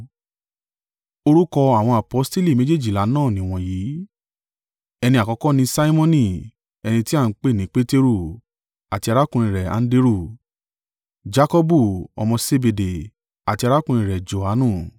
Orúkọ àwọn aposteli méjèèjìlá náà ni wọ̀nyí: ẹni àkọ́kọ́ ni Simoni ẹni ti a ń pè ni Peteru àti arákùnrin rẹ̀ Anderu; Jakọbu ọmọ Sebede àti arákùnrin rẹ̀ Johanu.